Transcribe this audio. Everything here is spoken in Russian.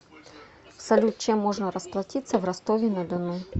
салют чем можно расплатиться в ростове на дону